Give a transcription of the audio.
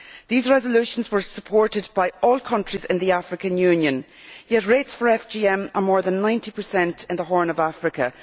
These resolutions were supported by all countries in the African Union, yet rates for FGM are more than 90 in the Horn of Africa.